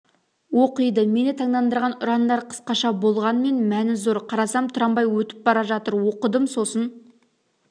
оқиды мені таңдандырған ұрандар қысқаша болғанмен мәні зор қарасам трамвай өтіп бара жатыр оқыдым сосын